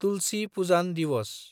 तुलसि पुजान दिवस